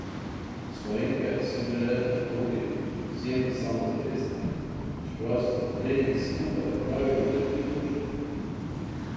Slovenke so bile na progi izjemno samozavestne, čeprav so za trening skupaj opravile le tri vožnje.